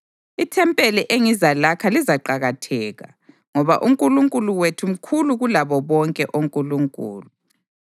Ithempeli engizalakha lizaqakatheka, ngoba uNkulunkulu wethu mkhulu kulabo bonke onkulunkulu.